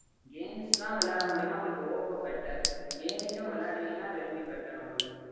games லா விளையாட மாட்டீங்க னா உங்களுக்கு oppo better gaming உம் விளையாடுவீங்க னா redmi better உங்களுக்கு